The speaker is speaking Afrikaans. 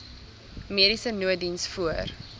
mediese nooddiens voor